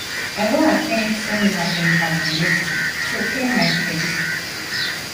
i wan at ten d seminar for ibadan next week so clear my schedule